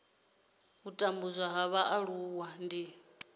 u tambudzwa ha mualuwa ndi